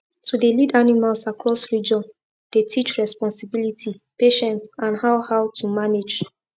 to dey lead animals across region dey teach responsibility patience and how how to manage